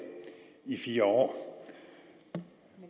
i fire år og